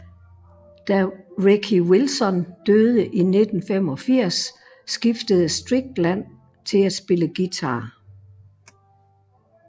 Da Ricky Wilson døde i 1985 skiftede Strickland til at spille guitar